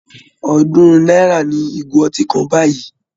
Ọ̀ọ́dúnrún náírà ni ìgò ọtí kan báyìí